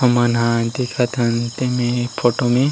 हमन हा दिखत हन ते में ए फोटो में--